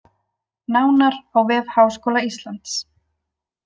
Nánar á vef Háskóla Íslands